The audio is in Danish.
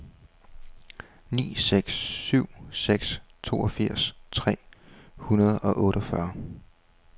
ni seks syv seks toogfirs tre hundrede og otteogfyrre